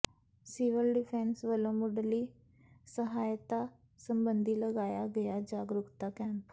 civil defence ਵੱਲੋਂ ਮੁੱਢਲੀ ਸਹਾਇਤਾ ਸਬੰਧੀ ਲਗਾਇਆ ਗਿਆ ਜਾਗਰੂਕਤਾ ਕੈਂਪ